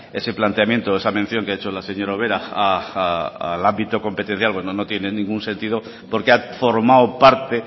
ese planteamiento esa mención que ha hecho la señora ubera al ámbito competencial cuando no tiene ningún sentido porque ha formado parte